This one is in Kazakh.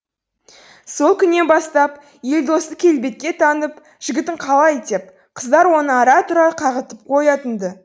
сол күннен бастап елдосты келбетке таңып жігітің қалай деп қыздар оны ара тұра қағытып қоятын ды